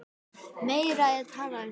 Meira er talað um þau.